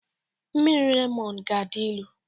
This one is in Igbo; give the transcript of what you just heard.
Mmiri Lemọn ga-adị ilu